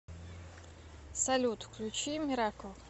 салют включи миракл